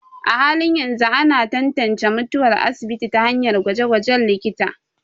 A halin yanzu, ana tantance mutuwar asibiti ta hanyar gwaje-gwajen likita.